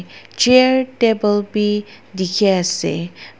chair table bi dikhiase.